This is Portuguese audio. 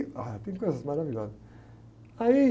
Ah, coisas maravilhosas. Aí...